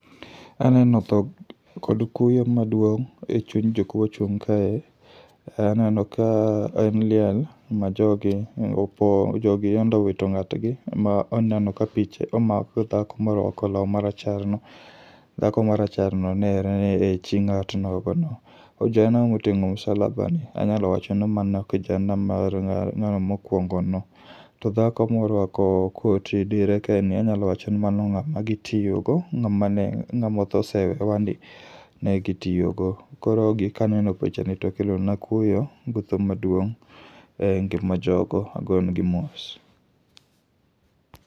Kaneno tho kod kuyo maduong' e chuny jok mochung' kae, aneno ka en liel ma jogi opo, jogi yande owito ng'at gi. Ma oneno ka picha omako dhako morwako lawu marachar no. Dhako maracharno nere ni e chi ng'at nogo no. Ojana moting'o msalaba ni, anyalo wacho ni mano kijana mar ng'a n'gano mokwongo no. To dhako morwako koti diere ka ni anyalo wacho ni mano ng'ama gitiyo go. Ng'ama ne ng'ama osetho owewa ni, ne gitiyo go. Koro gi kanyo no picha ni to kelo na kuyo gu tho maduong' e ngima jogo. Ago ne gi mos.